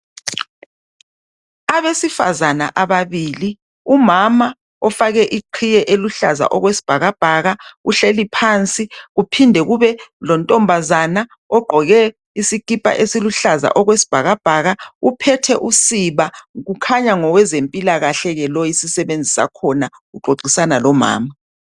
Abesifazana ababili ,umama ofake iqiye eluhlaza okwesibhakabhaka uhleli phansi .Kuphinde kube lontombazana ogqoke isikhipha esiluhlaza okwesibhakabhaka. Uphethe usiba ,kukhanya ngowezempilakahle ke lo isisebenzi sakhona .Uxoxisana lomama.